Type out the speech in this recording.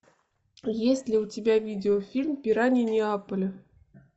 есть ли у тебя видеофильм пираньи неаполя